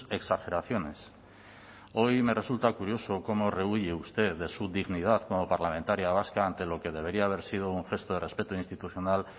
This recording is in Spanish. exageraciones hoy me resulta curioso cómo rehúye usted de su dignidad como parlamentaria vasca ante lo que debería haber sido un gesto de respeto institucional